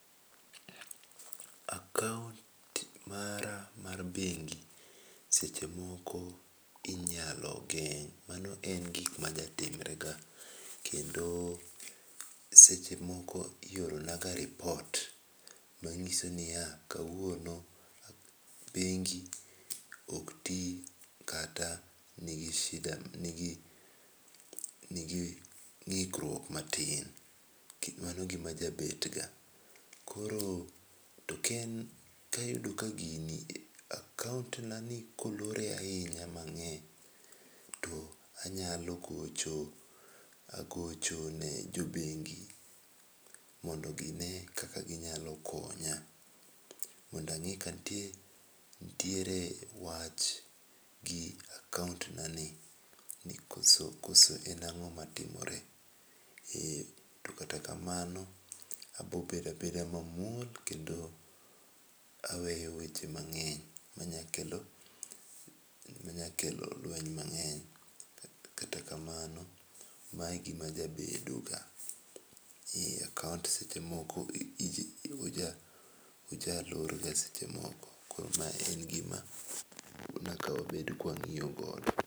Akaont mara mar bengi seche moko inyalo geng'. Mano en gik majatimre ga. Kendo seche moko ioro na ga repot manyiso niya kawuon bengi ok ti kata nigi shida kata nigi ng'ikruok matin. Mano gima jabet ga. Kor ka en ka ayudi ka gini akount na ni kayudo ka olore ahinya mang'eny anyalo gocho gocho ne jo bengi mondo gine kaka ginyalo konya. Mondo ang'e ka nitie nitiere wach gi akount nani. Koso en ang'o matimore. E to katakamano abobedo abeda mamuol kendo aweyo weche mang'eny manya kelo lweny mang'eny. To kata kamano mae gima jabedo ga. E akount seche moko oja lorga seche moko koro ma en gima nyaka wabed ka wang'iyo godo.